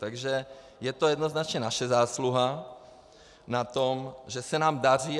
Takže je to jednoznačně naše zásluha na tom, že se nám daří.